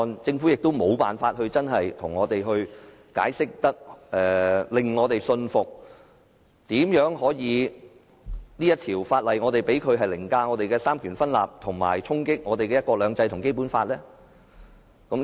政府亦無法向我們清楚解釋，並令我們信服為何可讓這項法案凌駕於香港的三權分立制度之上，以及衝擊香港的"一國兩制"和《基本法》。